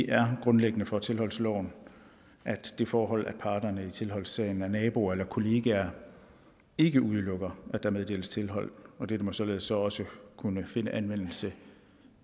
er grundlæggende for tilholdsloven at det forhold at parterne i tilholdssagen er naboer eller kollegaer ikke udelukker at der meddeles tilhold det må således så også kunne finde anvendelse